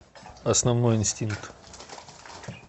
основной инстинкт